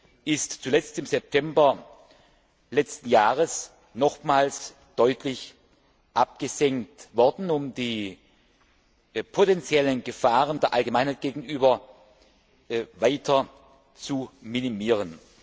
Diese sind zuletzt im September letzten Jahres nochmals deutlich abgesenkt worden, um die potenziellen Gefahren für die Allgemeinheit weiter zu minimieren.